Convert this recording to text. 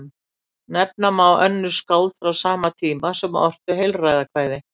Nefna má önnur skáld frá sama tíma sem ortu heilræðakvæði.